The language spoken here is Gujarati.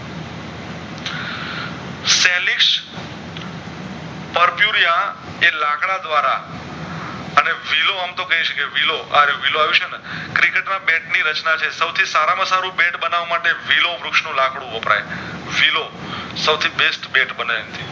પર પુરિયા એ લાકડા દ્વારા અને વિલો અમથો આવ્યુ છે ને Cricket માં બેટ ની રચના જે સવથી સારા માં સારૂ બેટ બનાવામાટે વિલો વૃક્ષ નું લાકડું વપરાય વિલો સૌ થી best બેટ બને એનથી